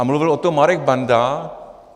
A mluvil o tom Marek Benda.